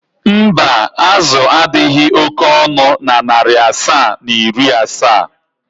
mba, azụ a adịghị oke ọnụ na narị asaa na iri asaa.